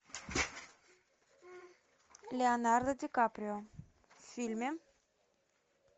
леонардо ди каприо в фильме